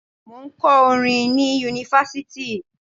Mò ń kọ́ orin ni Yunifásítì.